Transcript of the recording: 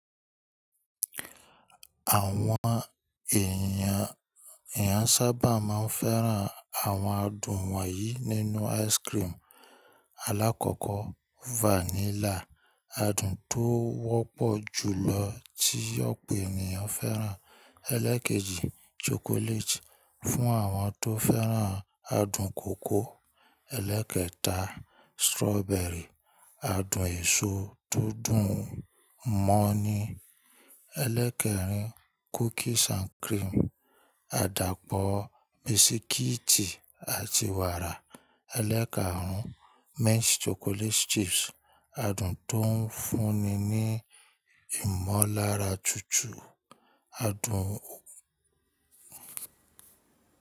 Àwọn èèyàn sábà máa ń fẹ́ran àwọn adùn wọ̀nyí nínú ice cream: Alákọ̀ọ́kọ́ vanilla, adùn tó wọ́pọ̀ jù lọ tí ọ̀pọ̀ ènìyàn fẹ́ràn. Elékèjì chocolate, fún àwọn tó fẹ́ran adùn kòkó. Elékẹta strawberry, adùn èso tó dùn mọ́ ni. Eléẹ́kerìn cookies and cream, àdàpọ̀ bisikíìtì àti wàrà. Eleekarun mixed chocolate chips adùn tó ń fúnni ní ìmọ̀lára tutù adùn.